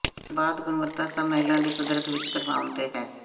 ਪਰ ਬਾਅਦ ਗੁਣਵੱਤਾ ਸਭ ਮਹਿਲਾ ਦੀ ਕੁਦਰਤ ਵਿੱਚ ਕਰਵਾਉਣ ਤੇ ਹੈ